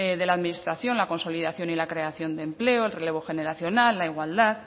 de la administración la consolidación y la creación de empleo el relevo generacional la igualdad